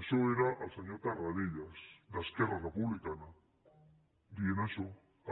això era el senyor tarradellas d’esquerra republicana que deia això